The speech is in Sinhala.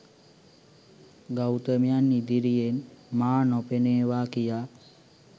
ගෞතමයන් ඉදිරියෙන් මා නොපෙනේවා කියා.